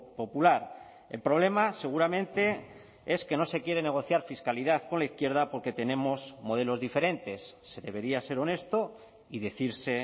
popular el problema seguramente es que no se quiere negociar fiscalidad con la izquierda porque tenemos modelos diferentes se debería ser honesto y decirse